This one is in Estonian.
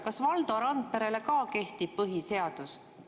Kas Valdo Randperele ka kehtib põhiseadus?